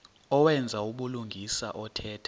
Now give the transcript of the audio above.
owenza ubulungisa othetha